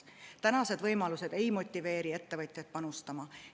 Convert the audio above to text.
Tänased võimalused ei motiveeri ettevõtjaid panustama.